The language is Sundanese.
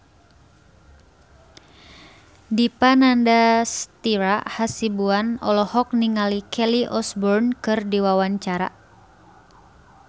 Dipa Nandastyra Hasibuan olohok ningali Kelly Osbourne keur diwawancara